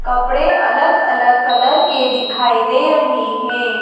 कपड़े अलग अलग कलर के दिखाई दे रहे है।